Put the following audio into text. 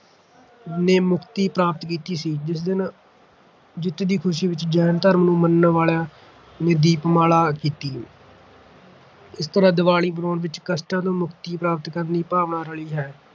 ਨੇ ਮੁਕਤੀ ਪ੍ਰਾਪਤ ਕੀਤੀ ਸੀ ਜਿਸ ਦਿਨ ਜਿੱਤ ਦੀ ਖ਼ੁਸ਼ੀ ਵਿੱਚ ਜੈਨ ਧਰਮ ਨੂੰ ਮੰਨਣ ਵਾਲਿਆਂ ਨੇ ਦੀਪਮਾਲਾ ਕੀਤੀ ਇਸ ਤਰ੍ਹਾਂ ਦੀਵਾਲੀ ਮਨਾਉਣ ਵਿੱਚ ਕਸ਼ਟਾਂ ਤੋਂ ਮੁਕਤੀ ਪ੍ਰਾਪਤ ਕਰਨ ਦੀ ਭਾਵਨਾ ਰਲੀ ਹੈ